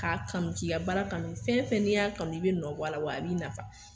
K'a kanu k'i ka baara kanu, fɛn fɛn n'i y'a kanu i bɛ nɔ bɔ a la, wa a b'i nafa.